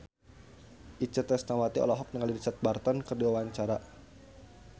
Itje Tresnawati olohok ningali Richard Burton keur diwawancara